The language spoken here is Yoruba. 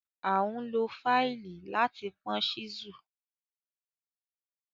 À n lọ faílì lati pọn chísù.